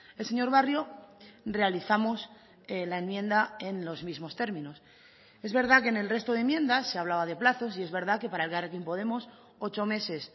el señor barrio realizamos la enmienda en los mismos términos es verdad que en el resto de enmiendas se hablaba de plazos y es verdad que para elkarrekin podemos ocho meses